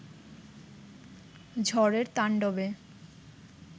ঝড়ের তান্ডবে